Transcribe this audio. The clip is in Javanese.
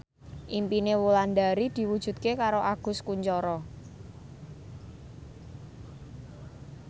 impine Wulandari diwujudke karo Agus Kuncoro